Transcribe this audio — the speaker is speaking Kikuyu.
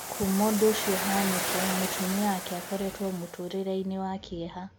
Kuuma ũndũ ũcĩo ũhañĩke mũtumia wake akoretwo mũtũrĩreini wa kĩeha